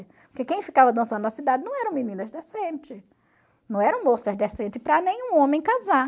Porque quem ficava dançando na cidade não eram meninas decentes, não eram moças decentes para nenhum homem casar.